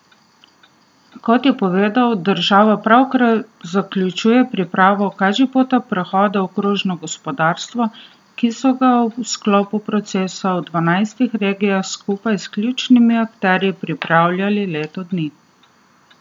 Kot je povedal, država pravkar zaključuje pripravo kažipota prehoda v krožno gospodarstvo, ki so ga v sklopu procesa v dvanajstih regijah skupaj s ključnimi akterji pripravljali leto dni.